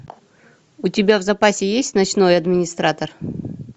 у тебя в запасе есть ночной администратор